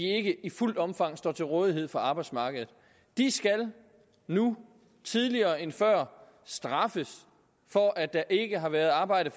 ikke i fuldt omfang står til rådighed for arbejdsmarkedet de skal nu tidligere end før straffes for at der ikke har været arbejde